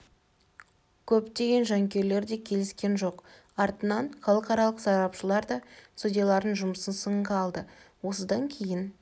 көптеген жанкүйерлер де келіскен жоқ артынан іалықаралық сарапшылар да судьялардың жұмысын сынға алды осыдан кейін